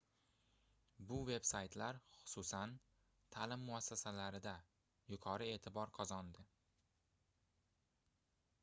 bu veb-saytlar xususan taʼlim muassasalarida yuqori eʼtibor qozondi